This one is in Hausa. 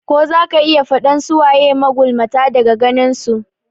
Ko zaka iya faɗan su waye magulmata daga ganin su?